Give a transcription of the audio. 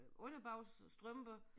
Underbukser strømper